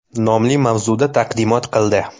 nomli mavzuda taqdimot qildi.